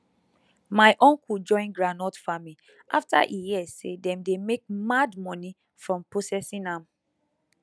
my uncle join groundnut farming after e hear say dem dey make mad money from processing am